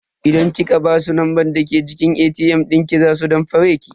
Idan kika basu numban jiki ATM dinki za su damfare ki.